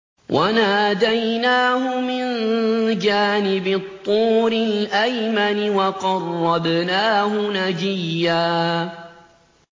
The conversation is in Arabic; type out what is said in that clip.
وَنَادَيْنَاهُ مِن جَانِبِ الطُّورِ الْأَيْمَنِ وَقَرَّبْنَاهُ نَجِيًّا